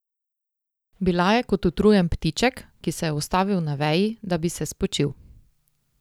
Bila je kot utrujen ptiček, ki se je ustavil na veji, da bi se spočil.